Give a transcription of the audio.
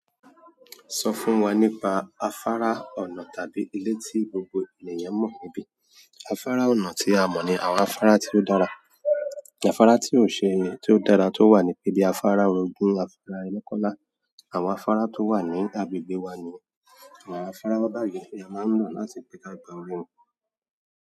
Sọ fún wa nípa afárá ọnà tàbí ilé tí gbogbo ènìyàn mọ̀ níbí. Afárá ọnà tí a mọ̀ ni àwọn afárá tí ó dára, àfàrà tí ó ṣe é, tí ó dára tó wà ní ibi afárá ogun, afárá ẹ́kọ́lá, àwọn afárá tó wà ní agbègbè wa niyen, àwọn afárá báyìí ni a máa ń lò láti gbé ká ìgbà orí ń pọ̀.